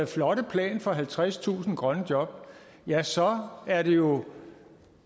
flotte plan for halvtredstusind grønne job ja så er det jo